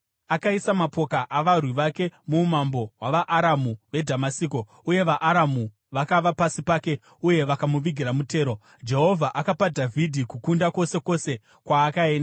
Akaisa mapoka avarwi vake muumambo hwavaAramu veDhamasiko, uye vaAramu vakava pasi pake uye vakamuvigira mutero. Jehovha akapa Dhavhidhi kukunda kwose kwose kwaakaenda.